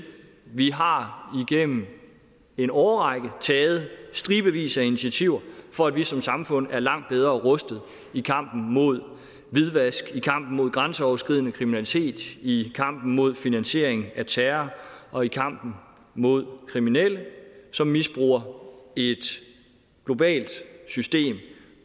vi har igennem en årrække taget stribevis af initiativer for at vi som samfund kan være langt bedre rustet i kampen mod hvidvask i kampen mod grænseoverskridende kriminalitet i kampen mod finansiering af terror og i kampen mod kriminelle som misbruger et globalt system